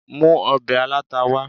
mu òbè alatá wa